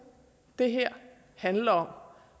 det her handler om